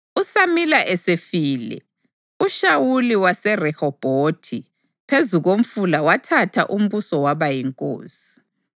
USamila esefile, uShawuli waseRehobhothi phezu komfula wathatha umbuso waba yinkosi.